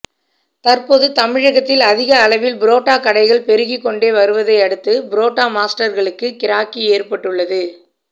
தற்போது தமிழகத்தில் அதிக அளவில் புரோட்டா கடைகள் பெருகிக் கொண்டே வருவதை அடுத்து புரோட்டா மாஸ்டர்களுக்கு கிராக்கி ஏற்பட்டுள்ளது